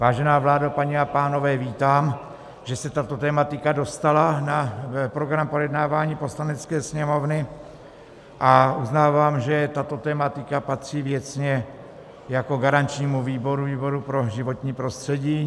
Vážená vládo, paní a pánové, vítám, že se tato tematika dostala na program projednávání Poslanecké sněmovny, a uznávám, že tato tematika patří věcně jako garančnímu výboru pro životní prostředí.